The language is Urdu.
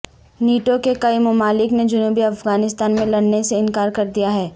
نیٹو کے کئی ممالک نے جنوبی افغانستان میں لڑنے سے انکار کر دیا ہے